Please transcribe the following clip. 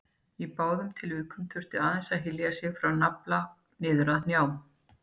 Í báðum tilvikum þurfti aðeins að hylja sig frá nafla niður að hnjám.